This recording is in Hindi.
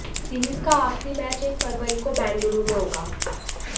सीरीज का आखिरी मैच एक फरवरी को बेंगलुरू में होगा